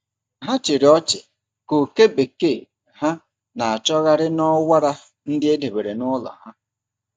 Ha chịrị ọchị ka oke bekee ha na-achọgharị n’ọwara ndị e debere n’ime ụlọ.